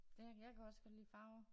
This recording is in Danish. Det jeg kan også godt lide farver